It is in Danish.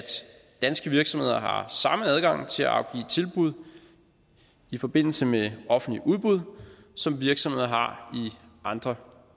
danske virksomheder har samme adgang til at afgive tilbud i forbindelse med offentlige udbud som virksomheder har i andre